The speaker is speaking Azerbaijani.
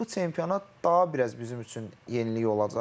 Amma bu çempionat daha biraz bizim üçün yenilik olacaq.